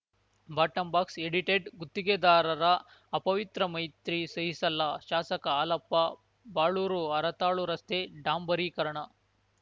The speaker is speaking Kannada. ಬಾಟಂಬಾಕ್ಸ್ ಎಡಿಟೆಡ್‌ ಗುತ್ತಿಗೆದಾರರ ಅಪವಿತ್ರ ಮೈತ್ರಿ ಸಹಿಸಲ್ಲ ಶಾಸಕ ಹಾಲಪ್ಪ ಬಾಳೂರು ಹರತಾಳು ರಸ್ತೆ ಡಾಂಬರೀಕರಣ